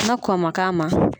Na kɔn man k'a ma